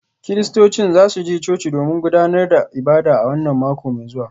Kiristocin za su je coci domin gudanar da ibada a wannan mako mai zuwa